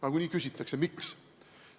Nagunii küsitakse, miks.